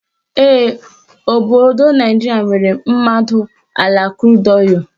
Ee, obodo Naijiria nwere mmadụ ala krud ọịlụ